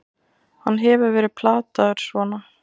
Hann hefur verið plataður svona!